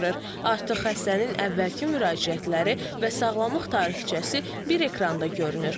Artıq xəstənin əvvəlki müraciətləri və sağlamlıq tarixçəsi bir ekranda görünür.